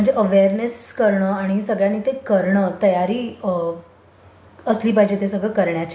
म्हणजे अवेयरनेस करणं आणि सगळ्यांनी ते करणं तयारी असली पाहिजे ते सगळं करण्याची.